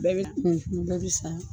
Bɛɛ bɛ kun fun, dɔ bɛ san.